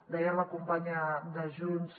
deia la companya de junts